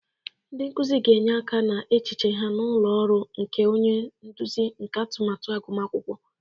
Ndị nkuzi ga-enye aka n'echiche ha na ụlọ ọrụ nke onye nduzi nke atụmatụ agụmakwụkwọ.